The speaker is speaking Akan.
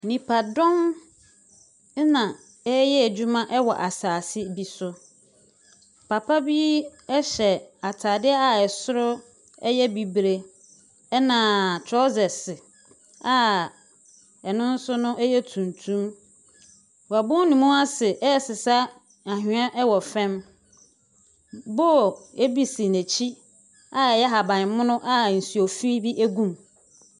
Nnipadɔm na wɔreyɛ adwuma wɔ asase bi so. Papa bi hyɛ atade a soro yɛ bibire, ɛnna torɔsɛse a ɛno nso no yɛ tuntum. Wabɔ ne mu ase resesa anwea wɔ fam. Bowl bi si n'akyi a ɛyɛ ahaban mono a nsu fi bi gu mu.